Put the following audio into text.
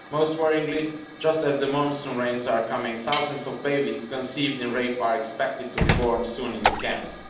Most worryingly, just as the monsoon rains are coming, thousands of babies conceived in rape are expected to be born soon in the camps.